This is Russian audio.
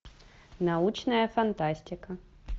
научная фантастика